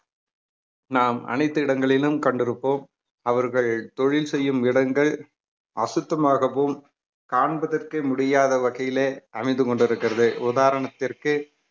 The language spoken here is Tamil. நாம் அனைத்து இடங்களிலும் கண்டிருப்போம் அவர்கள் தொழில் செய்யும் இடங்கள் அசுத்தமாகவும் காண்பதற்கே முடியாத வகையிலே அமைந்து கொண்டிருக்கிறது உதாரணத்திற்கு